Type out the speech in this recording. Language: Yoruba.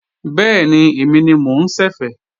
Bẹ́ẹ̀ni, èmi ni mo ń ṣẹ̀fẹ̀